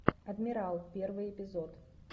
адмирал первый эпизод